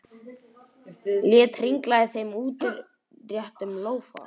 Lét hringla í þeim í útréttum lófa.